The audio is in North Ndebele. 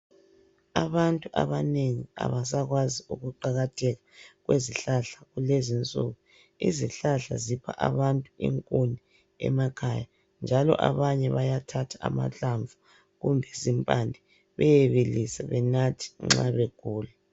Abantu abanengi abasakwazi ukuqakatheka kwezihlahla kulezinsuku. Izihlahla zipha abantu inkuni emakhaya njalo abanye bayathatha amahlamvu kumbe zimpande beyebilisa benathe nxa begula.